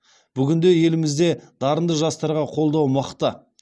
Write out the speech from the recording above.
бүгінде елімізде дарынды жастарға қолдау мықты